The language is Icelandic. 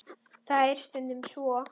Það er stundum svo.